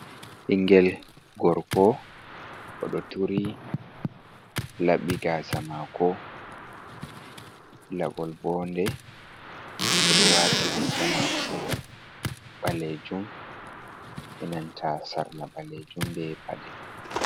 Ɓingel gorko, oɗo turi laɓi gaasa mako, laɓol bonde oɗo wati riga mako ɓalejum, inanta sarla ɓalejum be paɗe.